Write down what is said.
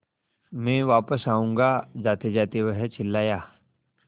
मैं वापस आऊँगा जातेजाते वह चिल्लाया